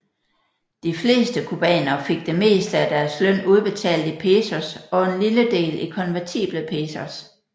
De fleste cubanere fik det meste af deres løn udbetalt i pesos og en lille del i konvertible pesos